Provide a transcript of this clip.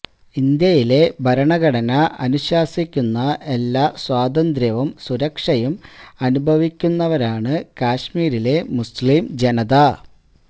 ഇന്ത്യയിലെ ഭരണഘടന അനുശാസിക്കുന്ന എല്ലാ സ്വാതന്ത്ര്യവും സുരക്ഷയും അനുഭവിക്കുന്നവരാണ് കശ്മീരിലെ മുസ്ലിം ജനത